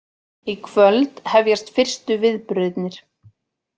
Í kvöld hefjast fyrstu viðburðirnir